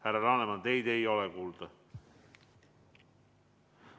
Härra Laneman, teid ei ole kuulda.